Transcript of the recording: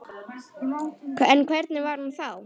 En hver var hún þá?